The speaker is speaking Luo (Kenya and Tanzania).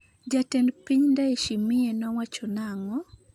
jatend Piny Ndayishimiye nowacho nang'o?